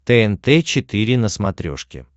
тнт четыре на смотрешке